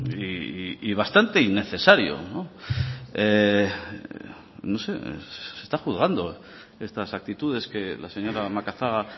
y bastante innecesario no no sé se está juzgando estas actitudes que la señora macazaga